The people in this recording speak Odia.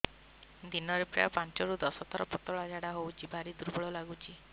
ଦିନରେ ପ୍ରାୟ ପାଞ୍ଚରୁ ଦଶ ଥର ପତଳା ଝାଡା ହଉଚି ଭାରି ଦୁର୍ବଳ ଲାଗୁଚି